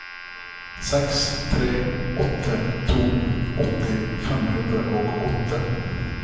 seks tre åtte to åtti fem hundre og åtte